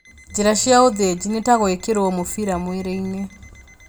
Njĩra cia ũthĩnji ni ta gũĩkĩrwo mũbira mwĩrĩ-inĩ